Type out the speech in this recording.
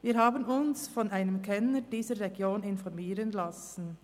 Wir haben uns von einem Kenner dieser Region informieren lassen.